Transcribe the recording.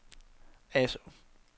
Asaa